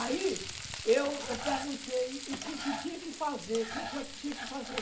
Aí eu eu perguntei o que que tinha que fazer, o que que eu tinha que fazer.